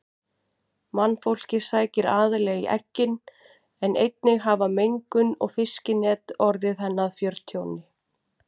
Mannfólkið sækir aðallega í eggin en einnig hafa mengun og fiskinet orðið henni að fjörtjóni.